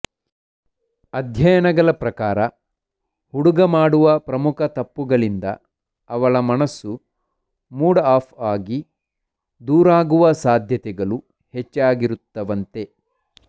ಅಧ್ಯಯನಗಳ ಪ್ರಕಾರ ಹುಡುಗ ಮಾಡುವ ಪ್ರಮುಖ ತಪ್ಪುಗಳಿಂದ ಅವಳ ಮನಸ್ಸು ಮೂಡ್ ಆಫ್ ಆಗಿ ದೂರಾಗುವ ಸಾಧ್ಯತೆಗಳು ಹೆಚ್ಚಾಗಿರುತ್ತವಂತೆ